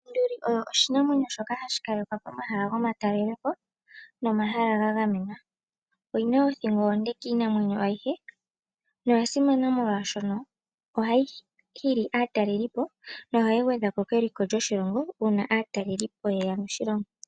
Onduli oyo oshinamwenyo shoka hashi kalekwa pomahala gomatalelopo, nomahala ga gamenwa. Oyi na othingo onde kiinamwenyo ayihe noya simana, molwaashoka ohayi hi li aatalelipo, nohayi gwedha ko keliko lyoshilongo, uuna aatalelipo ye ya moshilongo.